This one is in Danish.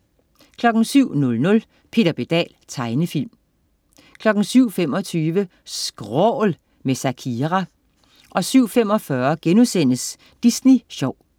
07.00 Peter Pedal. Tegnefilm 07.25 SKRÅL. med Zakria 07.45 Disney sjov*